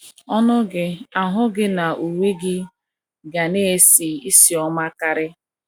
Ọnụ gị, ahụ gị na uwe gị ga na - esi ísì ọma karị.